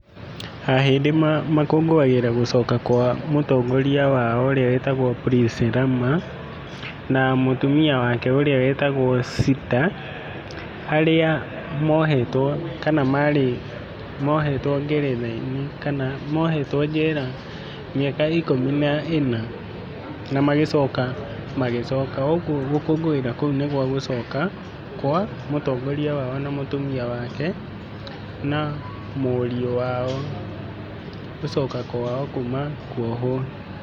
Ahĩndĩ makũngũagĩra gũcoka kwa mũtongoria wao, ũrĩa wetagwo Prince Rama na mũtũmia wake ũrĩa wetagwo [ Sita. Harĩa mohetwo kana marĩ mohetwo ng'eretha-inĩ, kana mohetwo njera mĩaka ikũmi na ĩna na magĩcoka magĩcoka, ugũo gũkũngũĩra kũu nĩ gwagũcoka kwa mũtongorĩa wao na mũtũmia wake na mũriũ wao gũcoka kwao kũma kũohwo.